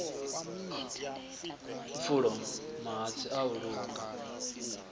pfulo mahatsi a u luka